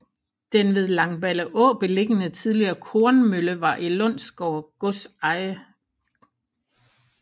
Den ved Langballeå beliggende tidligere kornmølle var i Lundsgård gods eje